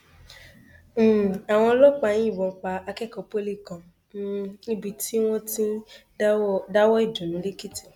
um àwọn ọlọpàá yìnbọn pa akẹkọọ pọlì kan um níbi tí wọn ti ń dáwọọ ìdùnnú lẹkìtì